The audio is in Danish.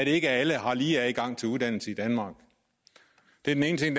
ikke alle har lige adgang til uddannelse i danmark det er den ene ting